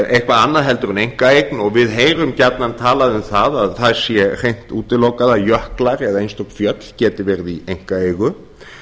eitthvað annað heldur en einkaeign og við heyrum gjarnan talað um það að það sé hreint útilokað að jöklar eða einstök fjöll geti verið í einkaeigu